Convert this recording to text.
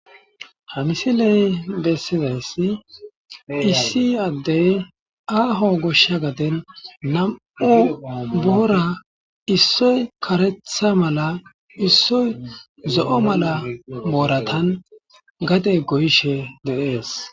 Ha misiley besizays issi adey aho gosha gaden 2 boora issoy karetha mala issoy zo'o mala boratan gade goyishe de'es.